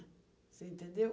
Você entendeu?